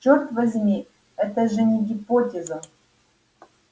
чёрт возьми это же не гипотеза